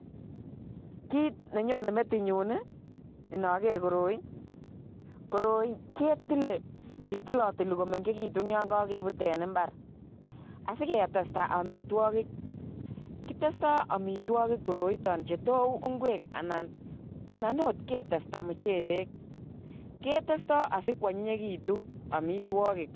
Kiit nenyone metinyun inoker koroi, koroi ketile ketilotili komeng'ekitun yoon kokebut en imbar asiketestaamitwokik, kitesto amitwokik koroiton chetou ing'wek anan oot ketesta muchelek, ketesto asikwonyinyekitun amitwokik